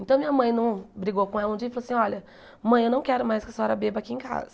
Então minha mãe não brigou com ela um dia e falou assim, olha, mãe, eu não quero mais que a senhora beba aqui em casa.